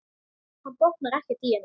Hann botnar ekkert í henni.